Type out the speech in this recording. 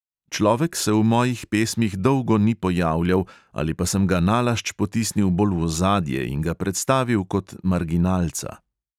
Človek se v mojih pesmih dolgo ni pojavljal ali pa sem ga nalašč potisnil bolj v ozadje in ga predstavil kot marginalca.